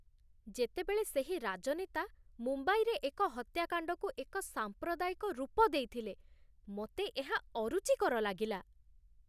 ଯେତେବେଳେ ସେହି ରାଜନେତା ମୁମ୍ବାଇରେ ଏକ ହତ୍ୟାକାଣ୍ଡକୁ ଏକ ସାମ୍ପ୍ରଦାୟିକ ରୂପ ଦେଇଥିଲେ, ମୋତେ ଏହା ଅରୁଚିକର ଲାଗିଲା